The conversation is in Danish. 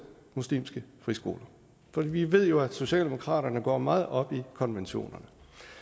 muslimske friskoler for vi ved jo at socialdemokratiet går meget op i konventionerne